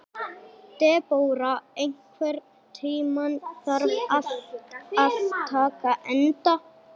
Debóra, einhvern tímann þarf allt að taka enda.